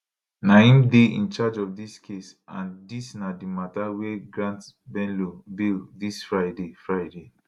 na im dey in charge of dis case and dis na di mata wia e grant bello bail dis friday friday